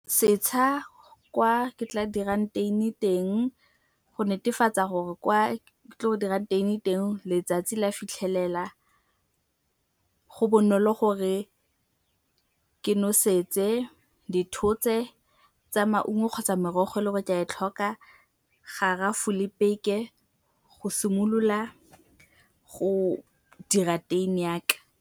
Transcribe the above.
Setsha kwa re tla dirang teini teng go netefatsa gore kwa re tlo dirang teini teng letsatsi la fitlhelela. Go bonolo gore ke nosetse dithotse tsa maungo kgotsa merogo e le gore ka e tlhoka, garafo le peke go simolola go dira teini ya ka.